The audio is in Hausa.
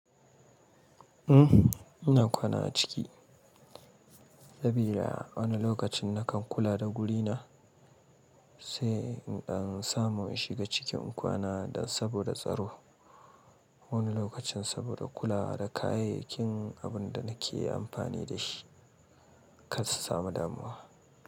Ina kwana a ciki. Sabida wani lokacin na kan kula da gurina, sai in ɗan samu in shiga ciki in kwana dan saboda tsaro. Wani lokacin saboda kula da kayayyakin abin da nake amfani da shi kar su samu damuwa.